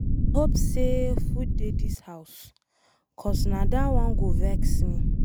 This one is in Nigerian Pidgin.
I hope say food dey this house, cause na dat one go vex me.